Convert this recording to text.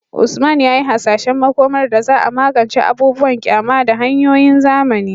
Usman ya yi hasashen makomar da za a magance abubuwan ƙyama da hanyoyin zamani